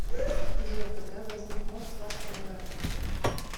джой когда возник мост вашку да гама